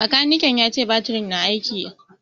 Makanike ya ce batirin na aiki.